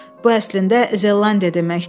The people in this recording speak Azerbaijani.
Bu əslində Zelandiya deməkdir.